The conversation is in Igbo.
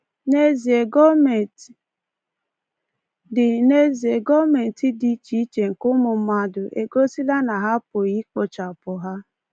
N’ezie, gọọmentị dị N’ezie, gọọmentị dị iche iche nke ụmụ mmadụ egosila na ha apụghị ikpochapụ ha.